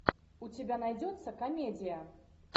у тебя найдется комедия